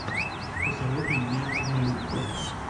посоветуй мне однолюб